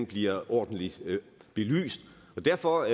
bliver ordentligt belyst og derfor